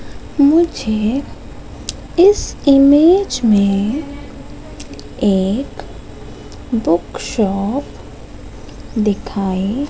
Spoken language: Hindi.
मुझे इस इमेज में एक बुक शॉप दिखाई--